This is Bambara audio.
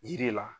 Yiri la